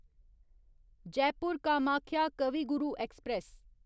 Jaipur Kamakhya Kavi Guru express